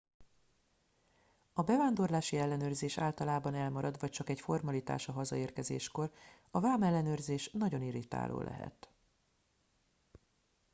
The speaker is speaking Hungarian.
a bevándorlási ellenőrzés általában elmarad vagy csak egy formalitás a hazaérkezéskor a vámellenőrzés nagyon irritáló lehet